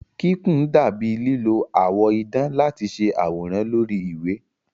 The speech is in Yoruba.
Kíkùn dà bíi lílo àwọ̀ idán láti ṣe àwòrán lórí ìwé.